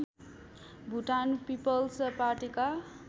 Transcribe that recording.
Bhutan peoples पार्टीका